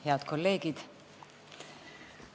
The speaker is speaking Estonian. Head kolleegid!